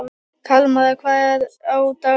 Kalmara, hvað er á dagatalinu í dag?